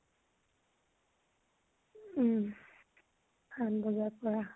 উম, সাত বজাৰ পৰা।